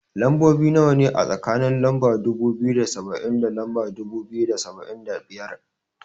Lambobi nawa ne, a tsakanin lamba dubu biyu da saba'in da lamba dubu biyu da saba'in da biyar?